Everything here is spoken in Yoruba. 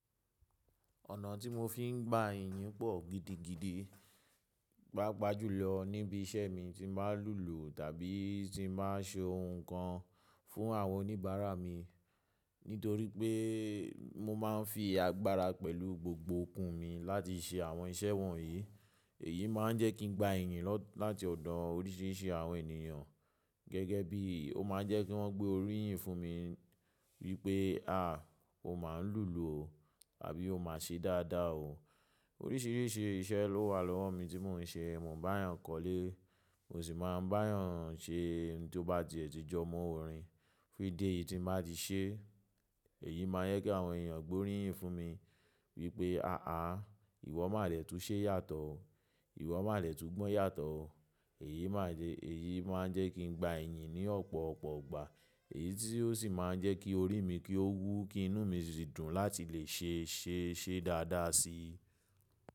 Ọ̀nà tí mo fi ń gba iyì pọ̀ gidigidi, pa pa jù lọ níbi iṣẹ́ mi tí màá ń lùlù tàbí tí màá ń ṣe ohun kan fún àwọn oníbàárà mi. Nítorí pé mo máa ń fi agbára pẹ̀lú gbogbo okùn mi láti ṣe àwọn iṣẹ́ wọ̀nyí. Èyí máa ń jẹ́ kí n gba iyì láti ọ̀dọ̀ oríṣìíríṣìí àwọn ènìyàn. Gẹ́gẹ́ bí, ó máa ń jẹ́ kí wọ́n gbé oríyìn fún mi wípé, "à, o máa ń lùlù o" tàbí "o máa ń ṣe dáadáa o". Oríṣìíríṣìí iṣẹ́ ló wà lọ́wọ́ mi tí mò ń ṣe, mò ń bá eeyan kọ́lé, mò sì máa ń bá eeyan ṣe ohun tó bá ti ẹ̀tí jọ mọ́ orin. Kí ìdí èyí tí màá ti ṣe, èyí máa ń jẹ́ kí àwọn ènìyàn gbé oríyìn fún mi wípé, "àáà, ìwọ má dẹ̀ tún ṣe yàtọ̀ o, ìwọ má dẹ̀ tún gbọ́n yàtọ̀ o". Èyí máa ń jẹ́ kí n gba iyì ní ọ̀pọ̀ ọ̀pọ̀ ọgbà. Èyí tí ó sì máa ń jẹ́ kí orí mi kí ó wú, kí inú mi sì dùn láti lè ṣe iṣẹ́ ṣe dáadáa si.